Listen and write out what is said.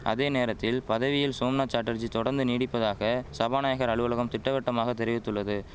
அதே நேரத்தில் பதவியில் சோம்நாத் சாட்டர்ஜி தொடர்ந்து நீடிப்பதாக சபாநாயகர் அலுவலகம் திட்டவட்டமாக தெரிவித்துள்ளது